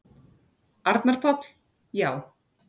Arnar Páll: Já.